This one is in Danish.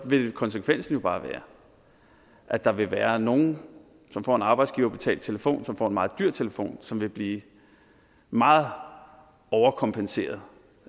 vil konsekvensen jo bare være at der vil være nogle som får en arbejdsgiverbetalt telefon som får en meget dyr telefon som vil blive meget overkompenseret